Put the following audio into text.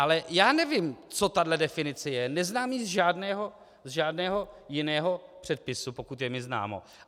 Ale já nevím, co tahle definice je, neznám ji z žádného jiného předpisu, pokud je mi známo.